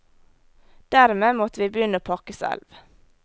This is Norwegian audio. Dermed måtte vi begynne å pakke selv.